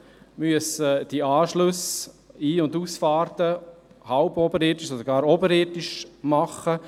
Man muss die Anschlüsse, die Ein- und Ausfahrten, halb oder ganz oberirdisch führen.